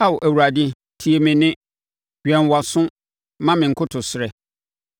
Ao Awurade tie me nne. Wɛn wʼaso ma me nkotosrɛ.